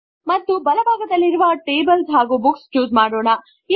ಮತ್ತು ಬಲ ಭಾಗದಲ್ಲಿರುವ 0TablesBooks ಚೂಸ್ ಮಾಡೋಣ